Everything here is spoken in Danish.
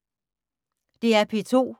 DR P2